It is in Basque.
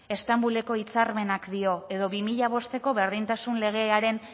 estambuleko hitzarmenak dio eta bi mila bosteko berdintasun legearen